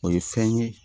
O ye fɛn ye